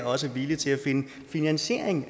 også er villige til at finde finansiering